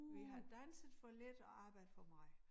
Vi har danset for lidt og arbejdet for meget